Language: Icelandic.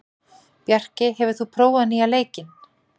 Bjarkey, hefur þú prófað nýja leikinn?